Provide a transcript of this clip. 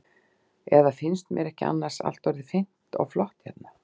Eða finnst mér ekki annars allt orðið fínt og flott hérna?